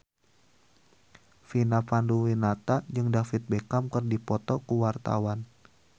Vina Panduwinata jeung David Beckham keur dipoto ku wartawan